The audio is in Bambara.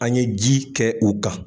An ye ji kɛ u kan.